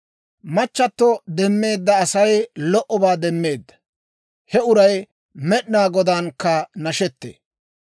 Machchato demmeedda Asay lo"obaa demmeedda; he uray Med'inaa Godaankka nashettee.